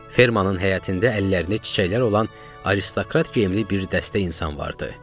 Fermanın həyətində əllərində çiçəklər olan Aristokrat geyimli bir dəstə insan vardı.